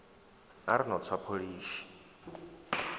a ri no tswa pholishi